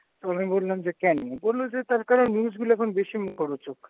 তো আমি বললাম যে কেন? বললো যে তার কারণ news গুলো এখন বেশি মুখরোচক।